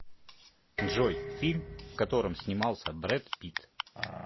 джой фильм в котором снимался брэд питт